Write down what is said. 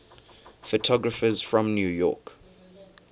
photographers from new york